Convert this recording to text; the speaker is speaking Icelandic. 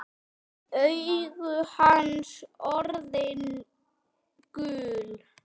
Augu hans orðin gul.